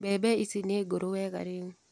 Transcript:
Mbembe ici nĩngũrũ wega rĩu.